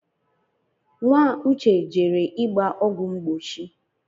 Nwa uche jere ịgba ọgwụ mgbochi